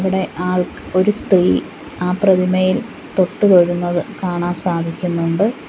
ഇവിടെ ആൾ ഒരു സ്ത്രീ ആ പ്രതിമയിൽ തൊട്ടുതൊഴുന്നത് കാണാൻ സാധിക്കുന്നുണ്ട്.